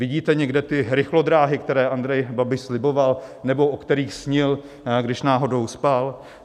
Vidíte někde ty rychlodráhy, které Andrej Babiš sliboval nebo o kterých snil, když náhodou spal?